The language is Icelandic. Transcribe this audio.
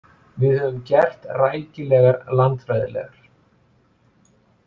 Við höfum gert rækilegar landfræðilegar.